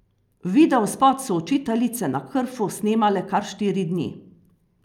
Videospot so Učiteljice na Krfu snemale kar štiri dni.